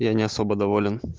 я не особо давали